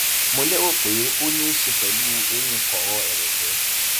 mo lérò pé ó ní í ṣe pẹlú eyín kọrọ ẹrẹkẹ